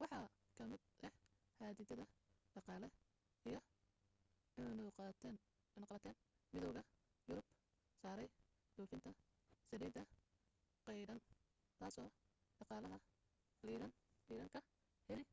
waxa ka mid ah xaddidaad dhaqaale iyo cunuqatayn midowga yurub saaray dhoofinta saliidda qaydhin taasoo dhaqaalaha iiraan ka heli